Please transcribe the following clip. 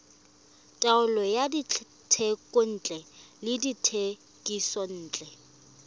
taolo ya dithekontle le dithekisontle